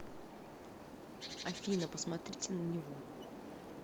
афина посмотрите на него